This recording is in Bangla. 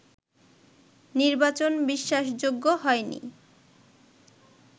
নির্বাচন ‘বিশ্বাসযোগ্য’ হয়নি